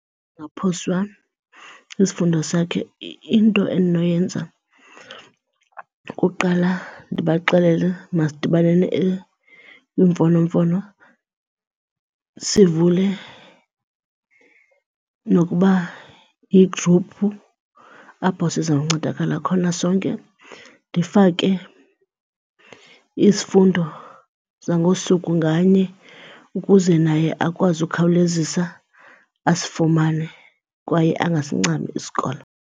sisifundo sakhe, into endinoyenza kuqala ndibaxelele masidibaneni kwiimfonomfono sivule nokuba yigruphu apho sizawuncedakala khona sonke. Ndifake isifundo sangosuku nganye ukuze naye akwazi ukhawulezisa asifumane kwaye angasincami isikolo.